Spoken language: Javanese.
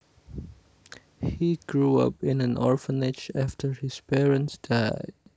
He grew up in an orphanage after his parents died